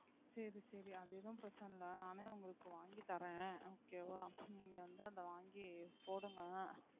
வாங்கி தரேன் okay வா நீங்க வந்து அத வாங்கி போடுங்க,